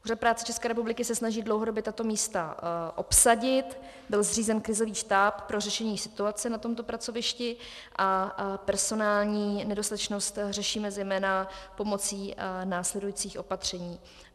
Úřad práce České republiky se snaží dlouhodobě tato místa obsadit, byl zřízen krizový štáb pro řešení situace na tomto pracovišti a personální nedostatečnost řešíme zejména pomocí následujících opatření.